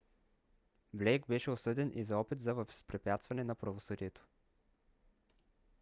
блейк беше осъден и за опит за възпрепятстване на правосъдието